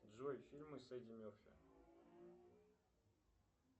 джой фильмы с эдди мерфи